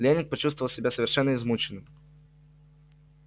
лэннинг почувствовал себя совершенно измученным